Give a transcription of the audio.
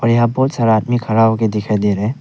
यहां बहोत सारा आदमी खड़ा होके दिखाई दे रहा है।